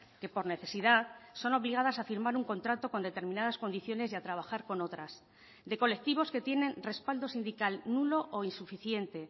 que por necesidad son obligadas a firmar un contrato con determinadas condiciones y a trabajar con otras de colectivos que tienen respaldo sindical nulo o insuficiente